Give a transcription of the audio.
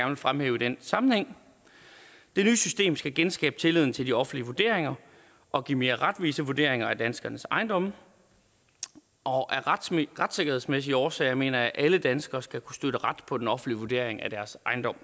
vil fremhæve i den sammenhæng det nye system skal genskabe tilliden til de offentlige vurderinger og give mere retvisende vurderinger af danskernes ejendomme og af retssikkerhedsmæssige årsager mener jeg at alle danskere skal kunne støtte ret på den offentlige vurdering af deres ejendom